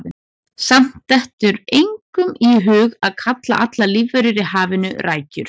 Samt dettur engum í hug að kalla allar lífverur í hafinu rækjur.